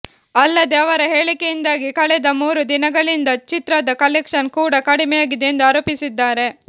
ಅಲ್ಲದೇ ಅವರ ಹೇಳಿಕೆಯಿಂದಾಗಿ ಕಳೆದ ಮೂರು ದಿನಗಳಿಂದ ಚಿತ್ರದ ಕಲೆಕ್ಷನ್ ಕೂಡ ಕಡಿಮೆಯಾಗಿದೆ ಎಂದು ಆರೋಪಿಸಿದ್ದಾರೆ